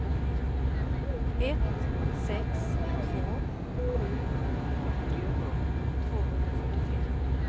ett sex två sju fyrtio tvåhundrafyrtiotre